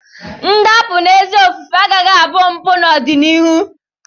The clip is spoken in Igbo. Ndapụ n'ezi ofufe agakwaghị abụ mpụ n'ọdịnihu.